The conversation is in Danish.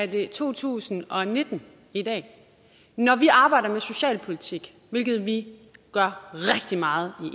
det er to tusind og nitten i dag når vi arbejder med socialpolitik hvilket vi gør rigtig meget